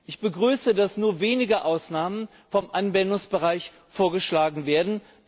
Ich begrüße, dass nur wenige Ausnahmen vom Anwendungsbereich vorgeschlagen werden.